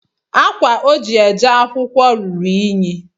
Ákwá o ji eje akwụkwọ ruru eyi